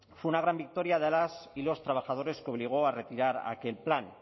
fue una gran victoria de las y los trabajadores que obligó a retirar aquel plan